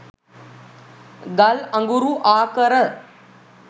ගල් අඟුරු ආකර